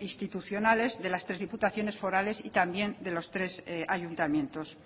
institucionales de las tres diputaciones forales y también de los tres ayuntamientos